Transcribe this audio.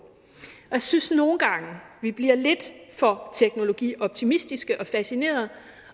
jeg synes nogle gange bliver lidt for teknologioptimistiske og fascinerede